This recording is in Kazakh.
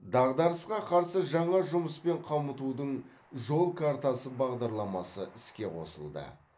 дағдарысқа қарсы жаңа жұмыспен қамтудың жол картасы бағдарламасы іске қосылды